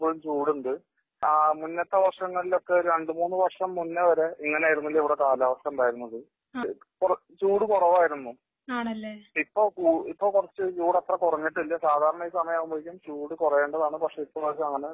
ഇപ്പോഴും ചൂടുണ്ട്. ആ മുന്നത്തെ വർഷങ്ങളിലെ ഒക്കെ രണ്ട് മൂന്ന് വർഷം മുന്നേ വരെ ഇങ്ങനെ ആയിരുന്നില്ല ഇവിടെ കാലാവസ്ഥ ഉണ്ടായിരുന്നത്. ചൂട് കുറവായിരുന്നു. ഇപ്പോ കുറച്ച് ചൂട് അത്ര കുറഞ്ഞിട്ടില്ല. സാധാരണ ഈ സമയം ആകുമ്പോഴേക്കും ചൂട് കുറയേണ്ടതാണ് പക്ഷേ ഇപ്പോ അങ്ങനെ